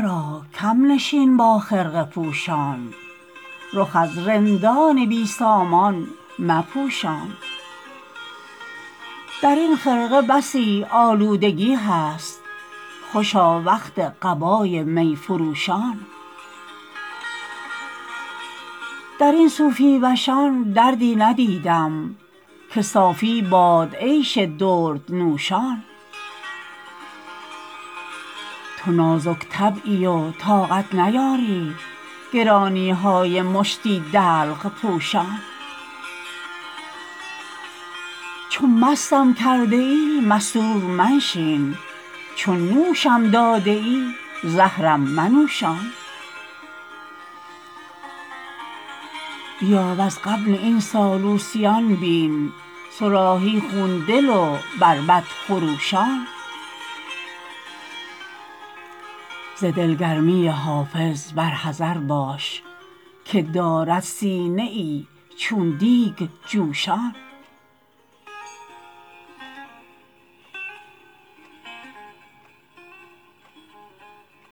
را کم نشین با خرقه پوشان رخ از رندان بی سامان مپوشان در این خرقه بسی آلودگی هست خوشا وقت قبای می فروشان در این صوفی وشان دردی ندیدم که صافی باد عیش دردنوشان تو نازک طبعی و طاقت نیاری گرانی های مشتی دلق پوشان چو مستم کرده ای مستور منشین چو نوشم داده ای زهرم منوشان بیا وز غبن این سالوسیان بین صراحی خون دل و بربط خروشان ز دلگرمی حافظ بر حذر باش که دارد سینه ای چون دیگ جوشان